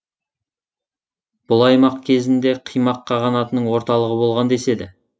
бұл аймақ кезінде қимақ қағанатының орталығы болған деседі